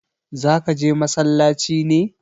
zaka je masallaci ne?